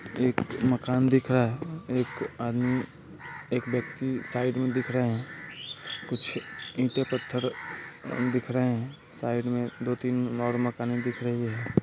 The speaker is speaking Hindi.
एक मकान दिख रहा है एक अदमी एक व्यक्ति साइड में दिखा रहे है कुछ ईंटें पत्थर और दिख रहे है साइड में दो-तीन और मकान दिख रहा है।